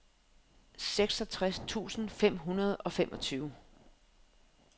seksogtres tusind fem hundrede og femogtyve